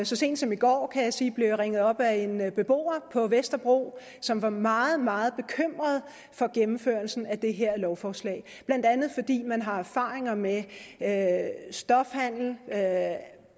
så sent som i går kan jeg sige blev jeg ringet op af en beboer på vesterbro som var meget meget bekymret for gennemførelsen af det her lovforslag blandt andet fordi man har erfaringer med stofhandel